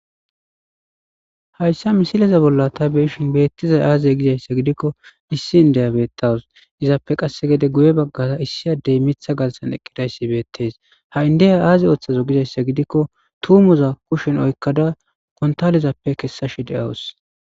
Haysa misileza bolla ta beyishn beetizayi aze gizaysa gidikon issi indiya beetawusi, izippe guye bagara issi adeyi Mitha garasani eqidaysi beetesi ha indiya aazi oothazu gizaysa gidikoni tuumoza kusheni oykida kuntalezappe kesashe de'awus,